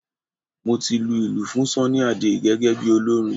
Mo ti lu ilù fún Sunny Adé gẹ́gẹ́ bí olórin